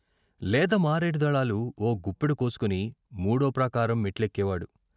లేత మారేడు దళాలు ఓ గుప్పెడు కోసుకొని మూడో ప్రాకారం మెట్లెక్కేవాడు.